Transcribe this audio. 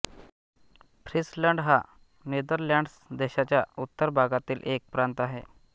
Friesland हा Netherlands देशाच्या उत्तर भागातील एक प्रांत आहे